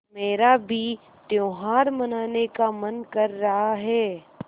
मेरा भी त्यौहार मनाने का मन कर रहा है